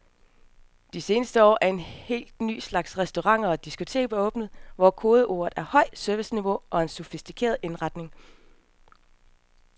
Det seneste år er en helt ny slags restauranter og diskoteker åbnet, hvor kodeordene er højt serviceniveau og en sofistikeret indretning.